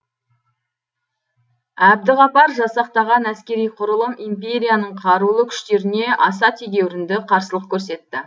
әбдіғапар жасақтаған әскери құрылым империяның қарулы күштеріне аса тегеурінді қарсылық көрсетті